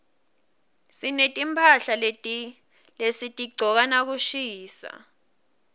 sinetimphahla lesitigcoka nakushisa